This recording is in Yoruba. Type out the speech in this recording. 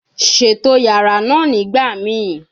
Ṣeto yara naa nigbamii